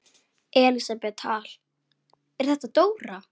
Elísabet Hall: Er þetta dóra?